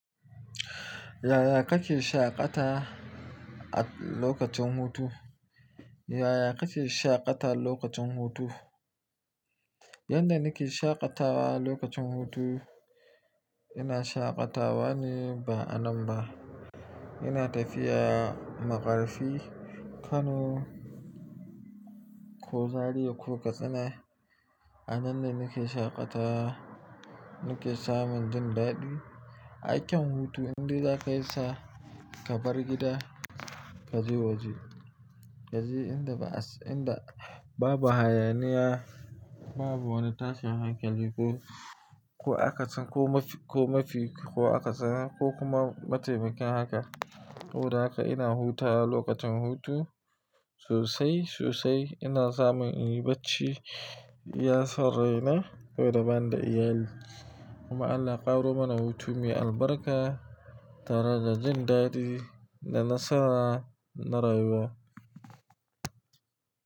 Yaya kake shaƙata a lokacin hutu? Yaya kake shaƙata lokacin hutu? Yanda nake shaƙatawa lokacin hutu, ina shaƙatawa ne ba anan ba. Ina tafiya maƙarfi Kano ko Zariya ko Katsina. Anan ne nake shaƙata nake samun jin daɗi. Aikin hutu inda za ka yisa ka bar gida ka je waje. Ka je inda ba, inda babu hayaniya, babu wani tashin hankali ko, ko akasin ko mafi, ko mafi ko akasin ko kuma ma taimakin haka. To da haka ina huta lokacin hutu sosai, sosai ina samun inyi bacci, iya saurayina sabo da ban da iyali. Kuma Allah ya ƙaro mana hutume albarka darajar jin daɗi da nasara na rayuwa.